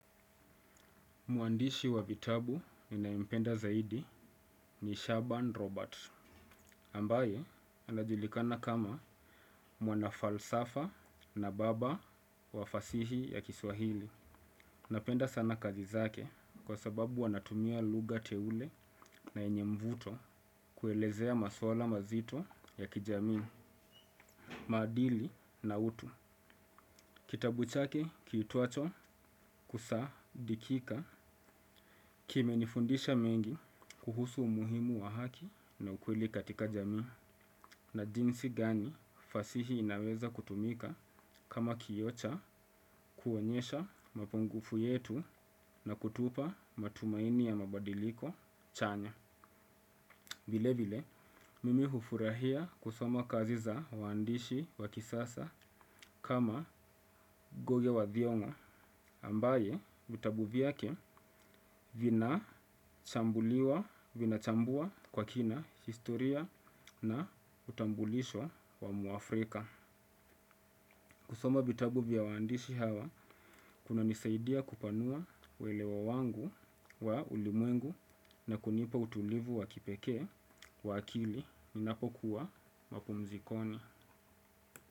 Mwandishi wa vitabu ninaempenda zaidi ni Shaban Robert, ambaye anajulikana kama mwanafalsafa na baba wa fasihi ya kiswahili. Napenda sana kazi zake kwa sababu anatumia lugha teule na yenye mvuto kuelezea maswala mazito ya kijamii, maadili na utu. Kitabu chake kiitwacho kusaadikika kimenifundisha mengi kuhusu umuhimu wa haki na ukweli katika jamii na jinsi gani fasihi inaweza kutumika kama kioo cha kuonyesha mapungufu yetu na kutupa matumaini ya mabadiliko chanya. Vile vile, mimi hufurahia kusoma kazi za waandishi wa kisasa kama ngugi wa thiong'o ambaye vitabu vyake vinachambua kwa kina historia na utambulisho wa mwafrika. Kusoma vitabu vya waandishi hawa kunanisaidia kupanua uelewa wangu wa ulimwengu na kunipa utulivu wa kipekee wa akili ninapokuwa mapumzikoni.